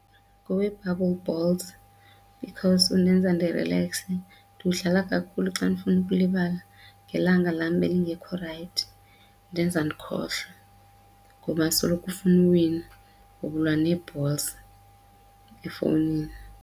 Ngowe-bubble balls because undenza ndirilekse, ndiwudlala kakhulu xa ndifuna ukulibala ngelanga lam belingekho rayithi indenza ndikhohlwe ngoba soloko ufuna uwina ngoba ulwa nee-balls efowunini.